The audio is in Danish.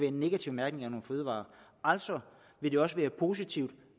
en negativ mærkning af nogle fødevarer altså vil det også være positivt